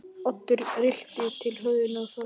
Oddur rykkti til höfðinu og þagði.